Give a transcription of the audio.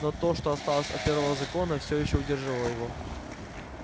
но то что осталось от первого закона всё ещё удержало его